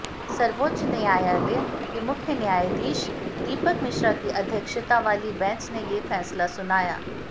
सर्वोच्च न्यायालय के मुख्य न्यायाधीश दीपक मिश्रा की अध्यक्षता वाली बेंच ने ये फैसला सुनाया